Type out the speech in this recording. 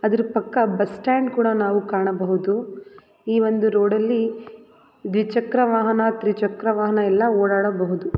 ಅದ್ರ ಪಕ್ಕ bus stand ಕೂಡ ನಾವು ಕಾಣಬಹುದು ಈ ಒಂದು ರೋಡಲ್ಲಿ ದ್ವಿಚಕ್ರ ವಾಹನ ತ್ರಿ ಚಕ್ರ ವಾಹನ ಎಲ್ಲಾ ಓಡಾಡಬಹುದು.